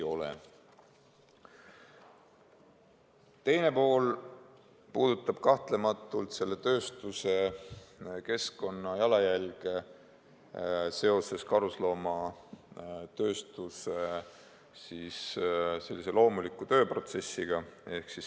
Teine pool puudutab selle tööstuse keskkonnajalajälge seoses karusnahatööstuse loomuliku tööprotsessiga.